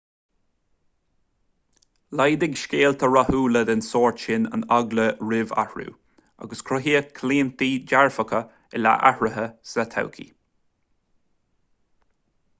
laghdaigh scéalta rathúla den sórt sin an eagla roimh athrú agus cruthaíodh claontaí dearfacha i leith athruithe sa todhchaí